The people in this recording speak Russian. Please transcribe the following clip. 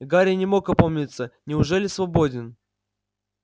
гарри не мог опомниться неужели свободен